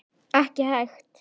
Ekki hægt.